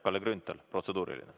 Kalle Grünthal, protseduuriline.